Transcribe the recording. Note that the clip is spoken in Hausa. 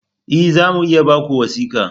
E! za mu iya ba ku wuski.